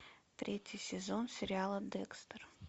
третий сезон сериала декстер